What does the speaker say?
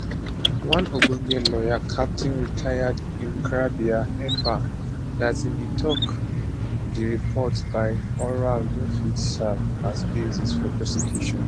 one ogbonge lawyer captain rtd nkrabea effah darteybin tok say di report by oral no fit to serve as basis for prosecution